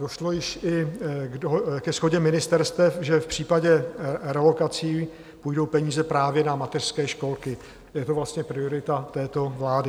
Došlo již i ke shodě ministerstev, že v případě realokací půjdou peníze právě na mateřské školky, je to vlastně priorita této vlády.